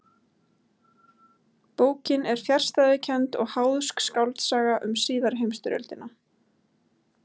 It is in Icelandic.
Bókin er fjarstæðukennd og háðsk skáldsaga um síðari heimstyrjöldina.